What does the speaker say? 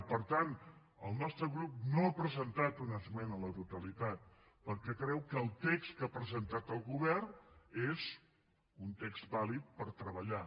i per tant el nostre grup no ha presentat una esmena a la totalitat perquè creu que el text que ha presentat el govern és un text vàlid per treballar